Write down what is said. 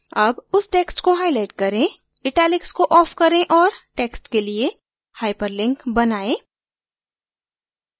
अब उस text को highlight करें italics को off करें और text के लिए hyperlink बनाएं